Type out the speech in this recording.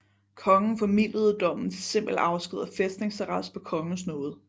Kongen formildede dommen til simpel afsked og fæstningsarrest på kongens nåde